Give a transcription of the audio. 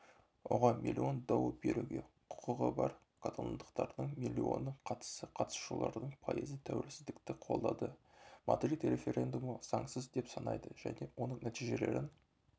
оған миллион дауы беруге құқығы бар каталондықтардың миллионы қатысса қатысушыларының пайызы тәуелсіздікті қолдады мадрид референдумды заңсыз деп санайды және оның нәтижелерін